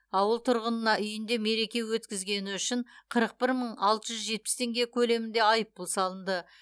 ауыл тұрғынына үйінде мереке өткізгені үшін қырық бір мың алты жүз жетпіс теңге көлемінде айыппұл салынды